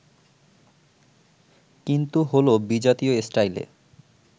কিন্তু হলো বিজাতীয় স্টাইলে